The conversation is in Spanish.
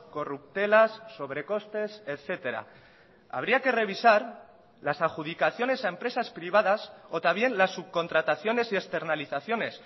corruptelas sobrecostes etcétera habría que revisar las adjudicaciones a empresas privadas o también las subcontrataciones y externalizaciones